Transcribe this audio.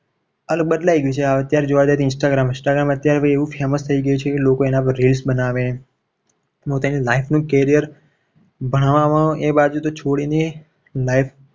હાલ બદલાઈ ગયું છે. અત્યારે જોવા જાય તો instagram instagram ભાઈ અત્યારે એવું famous થઈ ગયું છે. ને કે લોકો એના reels બનાવે. પોતાની life નું carrier ભણવામાં એ બાજુ તો છોડીને